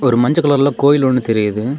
ஒரு மஞ்செ கலர்ல கோயில் ஒன்னு தெரியுது.